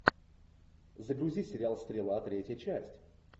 загрузи сериал стрела третья часть